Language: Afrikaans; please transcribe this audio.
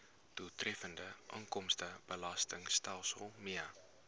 doeltreffende inkomstebelastingstelsel mee